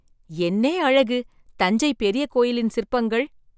என்னே அழகு! தஞ்சை பெரிய கோயிலின் சிற்பங்கள்!